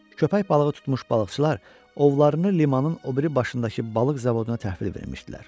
Köpək balığı tutmuş balıqçılar ovlarını limanın o biri başındakı balıq zavoduna təhvil vermişdilər.